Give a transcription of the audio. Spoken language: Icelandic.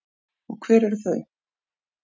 Og hver eru þau?